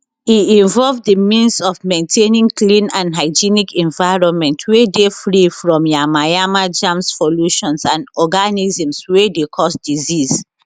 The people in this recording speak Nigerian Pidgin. e involve di means of maintaining clean and hygienic environment wey dey free from yamayama germs pollutions and organisms wey dey cause disease